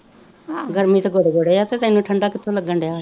ਗਰਮੀ ਤਾਂ ਗੋਡੇ ਗੋਡੇ ਆ ਅਤੇ ਤੈਨੂੰ ਠੰਡਾ ਕਿੱਥੋਂ ਲੱਗਣ ਡਿਆ